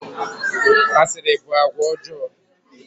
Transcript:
Asịrị bụ àgwà ọjọọ.